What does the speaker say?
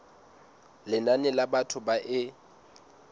lenane la batho ba e